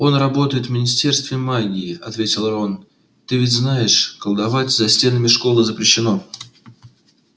он работает в министерстве магии ответил рон ты ведь знаешь колдовать за стенами школы запрещено